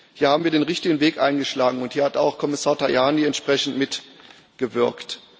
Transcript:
Hier haben wir den richtigen Weg eingeschlagen, und hier hat auch Kommissar Tajani entsprechend mitgewirkt.